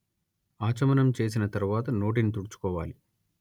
ఆచమనం చేసిన తరువాత నోటిని తుడుచుకోవాలి